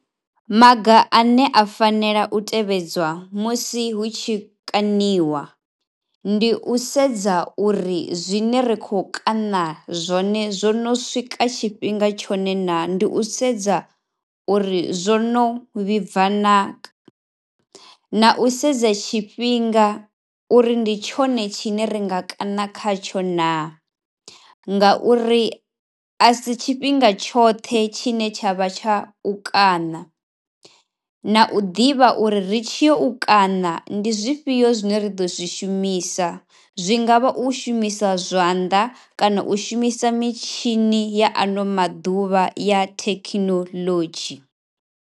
Maga ane a fanela u tevhedzwa musi hu tshi kaniwa ndi u sedza uri zwine ri khou kaṋa zwone zwo no swika tshifhinga tshone naa. Ndi u sedza uri zwo no vhibva naa, na u sedza tshifhinga uri ndi tshone tshine ri nga kaṋa khatsho naa. Ngauri a si tshifhinga tshoṱhe tshine tsha vha tsha u kaṋa, na u ḓivha uri ri tshi yo u kaṋa ndi zwifhio zwine ri ḓo zwi shumisa. Zwi nga vha u shumisa zwanḓa kana u shumisa mitshini ya ano maḓuvha ya thekinolodzhi.